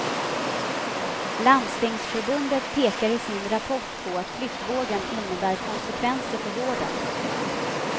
Landstingsförbundet pekar i sin rapport på att flyttvågen innebär konsekvenser för vården.